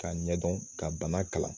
K'a ɲɛdɔn ka bana kalan